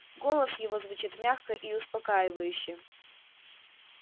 голос его звучит мягко и успокаивающе